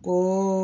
Bon